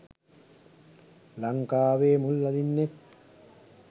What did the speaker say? ලංකාවේ මුල් අදින්නෙත්